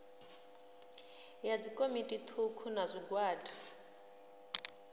ya dzikomiti thukhu na zwigwada